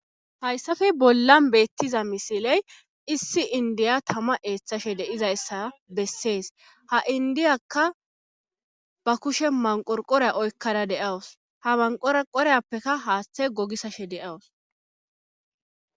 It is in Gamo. haysafe bollan beettiza misilen issi inddiya tama eethashe de7izayssa besse ha inddiyakka ba kushen manqorqoriya oykkada de7awus ha manqoreqoriyapekka haathey gogissashe de7awus.